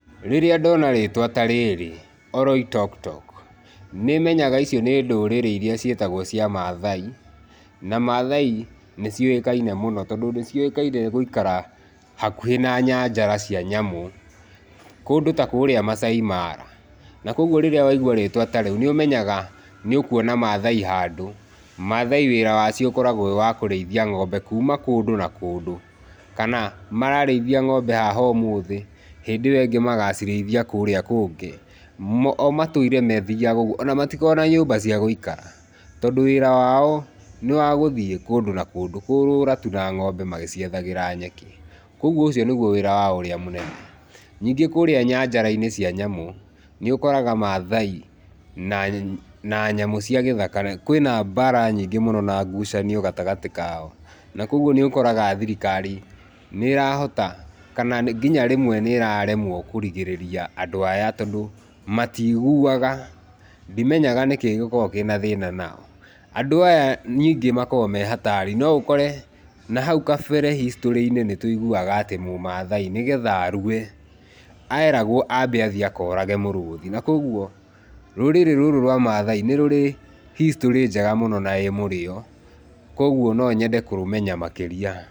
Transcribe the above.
Rĩrĩa ndona rĩtwa tarĩrĩ, oroitokutoku, nĩmenyaga icio nĩ ndũrĩrĩ iria ciĩtagwo cia mathai na Mathai nĩciũĩkaine mũno tondũ mathai nĩciũkaine gũikara hakuhĩ na nyanjara cia nyamũ kũndũ ta kũrĩa macai mara na kũoguo rĩrĩa waigua rĩtwa ta rĩu nĩũmenyaga nĩ ũkuona Mathai handũ. Mathai wĩra wacio ũkoragwo wĩ wa kũrĩithia ng'ombe kuuma kũndũ na kũndũ kana mararĩithia ng'ombe haha ũmũthĩ, hĩndĩ ĩo ĩngĩ magacirĩithia kũrĩa kũngĩ, o matũraga mathiaga ũguo, ona matikoragwo na nyũmba cia gũikara tondũ wĩra wao nĩwagũthiĩ kũndũ na kũndũ, kũũrũra tu na ng'ombe magĩciethagĩra nyeki. Kũoguo ũcio nĩguo wĩra wao ũrĩa mũnene. Ningĩ kũrĩa nyanjara-inĩ cia nyamũ nĩ ũkoraga Mathai na nyamũ cia gĩthaka, kwĩna mbara nyingĩ na ngucanio gatagatĩ kao na kũoguo nĩ ũkoraga thirikari nĩĩrahota, kana nginya rĩmwe nĩĩraremwo kũrigĩrĩria andũ aya tondũ matiguaga, ndimenya nĩkĩĩ gĩkoragwo kĩna thĩna nao. Andũ aya ningĩ makoragwo me-hatari,, no ũkore na hau kabere hicitũrĩ-inĩ nĩtũiguaga, mũmathai nĩgetha arue eragwo ambe athiĩ akorage mũrũthi na kũoguo rũrĩrĩ rũrũ rwa Mathai nĩrũrĩ history njega na ĩ mũrĩo kũoguo no nyende kũrũmenya makĩria.